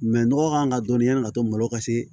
nɔgɔ kan ka dɔnniya ka to malo ka se